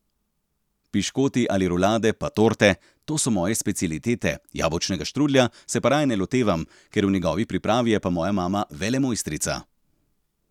Piškoti ali rulade pa torte, to so moje specialitete, jabolčnega štrudlja se pa raje ne lotevam, ker v njegovi pripravi je pa moja mama velemojstrica.